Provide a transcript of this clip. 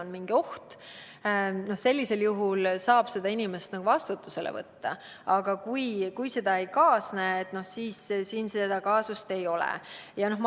sellisel juhul saab seda inimest vastutusele võtta, aga kui seda ei kaasne, siis kaasust ei ole.